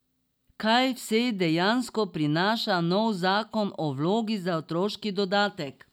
Kaj vse dejansko prinaša nov zakon o vlogi za otroški dodatek?